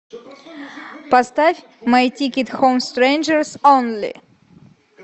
поставь май тикет хоум стрэнджерс онли